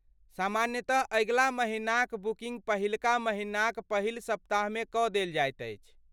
सामान्यतः अगिला महिनाक बुकिन्ग पहिलका महिनाक पहिल सप्ताहमे कऽ देल जाइत अछि।